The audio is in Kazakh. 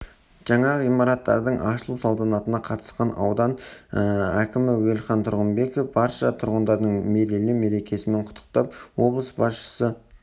жаңа ғимараттардың ашылу салтанатына қатысқан аудан кімі уелхан тұрғынбеков барша тұрғындарды мерейлі мерекемен құттықтап облыс басшысы